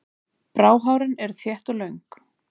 Bráhárin voru þétt og löng.